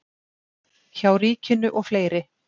hjá ríkinu og fleiri.